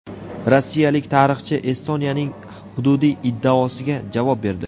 Rossiyalik tarixchi Estoniyaning hududiy iddaosiga javob berdi.